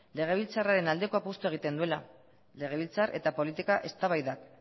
legebiltzarraren aldeko apustua egiten duela legebiltzar eta politika eztabaidak